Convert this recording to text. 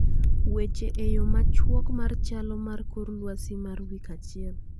Weche eyo machwok mar chalo mar kor lwasi mar wik achiel